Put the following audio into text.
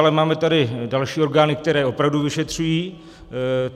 Ale máme tady další orgány, které opravdu vyšetřují.